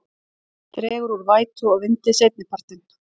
Dregur úr vætu og vindi seinnipartinn